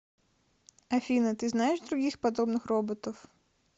афина ты знаешь других подобных роботов